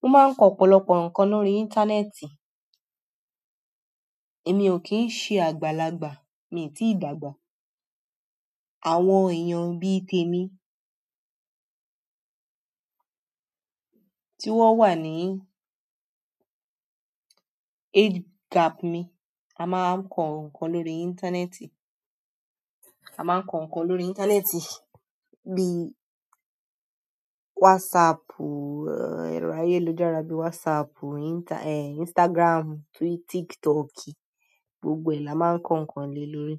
Mo máa ń kọ ọ̀pọ̀lọpọ̀ nǹkan lórí íńtánẹ́ẹ̀tì. Èmi ò kì í ṣe àgbàlagbà, mi ò tíì dàgbà. Àwọn èèyàn bí i tèmi tí wọ́n wà ní age gap mi, a máa ń kọ ǹkan lórí íńtánẹ́ẹ̀tì. A maan ko nkan lórí íńtánẹ́ẹ̀tì bi Whatsappu, ero ayélujára bi Whatsappu, Instagramu, tiktoki gbogbo e la máà n ko nkan le lórí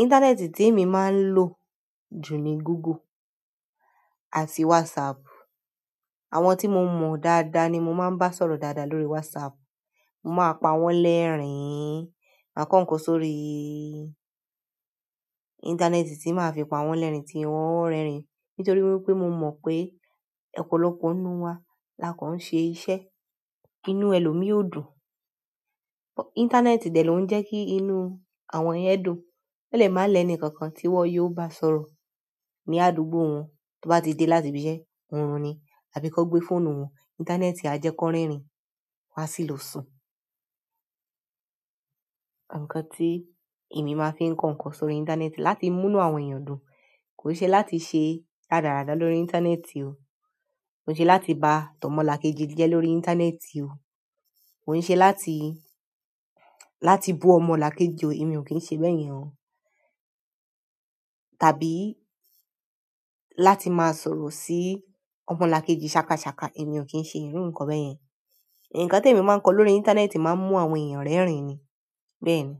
íńtánẹ́ẹ̀tì tí èmi máa ń lò jù ni Google àti WhatsApp. Àwọn tí mo mọ̀ dáadáa ni mo máa ń bá sọ̀rọ̀ dáadáa lórí WhatsApp. Ma p'awọn lẹrin ma ko nkan sórí íńtánẹ́ẹ̀tì tí màá fi pa wọ́n lẹ́rìn-ín tí wọ́n ń rẹ́rìn-ín, nítorí wípé mo mọ̀ pé ọ̀pọ̀lọpọ̀ nínú wa lakọ̀ọ́n ṣe iṣẹ́. Inú ẹlòmíì ó dùn, íńtánẹ́ẹ̀tì dẹ̀ ló ń jẹ́ kí inú àwọn ẹ̀yẹn dùn. Elẹ́málẹ̀ẹ́ni kankan tí wọ́n yóò bá sọ̀rọ̀ ní àdúgbò wọn, tó bá ti dé láti ibi iṣẹ́, orun ni, àbí kọ́ gbé fóònù wọn. Íńtánẹ́ẹ̀tì á jẹ́ kó rẹ́rìn-ín, a sì lò sun. Ǹkan tí èmi máa fi ń kọ ǹkan sórí íńtánẹ́ẹ̀tì láti mú inú àwọn èèyàn dùn, kò ṣe láti ṣe ràdàràda lórí íńtánẹ́ẹ̀tì o. Kò ṣe láti ba tọ́mọ làkejì je lórí íńtánẹ́ẹ̀tì o. Kò ṣe láti, láti bú ọmọ làkejì o. Èmi ò kí ń ṣe bẹ́ẹ̀ yẹn o. Tàbí láti máa sọ̀rọ̀ sí ọmọ làkejì sákasàka, èmi ò kí ń ṣe irú nǹkan bẹ́ẹ̀ yẹn. Ǹkan tí èmi máa ń kọ lórí íńtánẹ́ẹ̀tì máa ń mú àwọn èèyàn rẹ́rìn-ín ni, bẹ́ẹ̀ ni.